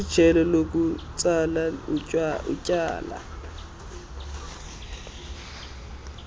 lijelo lokutsala utyalo